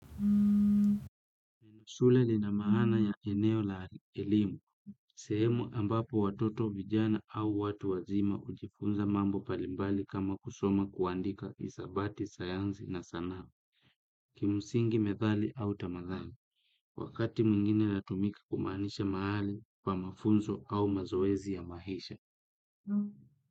Shule ina maana ya eneo la elimu, sehemu ambapo watoto, vijana au watu wazima hujifunza mambo mbalimbali kama kusoma, kuandika, hisabati, sayansi na sanaa. Kimsingi, methali au tamathali, wakati mwingine hutumika kumaanisha mahali pa mafunzo au mazoezi ya maisha.